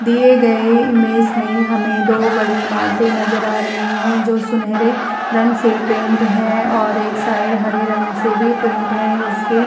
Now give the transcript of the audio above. दिए गए इमेज में हमें दो बड़ी इमारतें नजर आ रही हैं जो सुनहरे रंग से पेंट हैं और एक साइड हरे रंग से भी पेंट हैं। इसके --